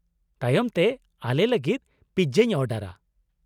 ᱛᱟᱭᱚᱢ ᱛᱮ ᱟᱞᱮ ᱞᱟᱹᱜᱤᱫ ᱯᱤᱡᱡᱟᱧ ᱚᱰᱟᱨᱼᱟ ᱾